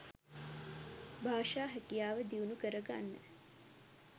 භාෂා හැකියාව දියුණු කරගන්න.